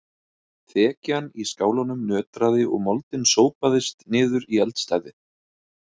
Þekjan í skálanum nötraði og moldin sópaðist niður í eldstæðið.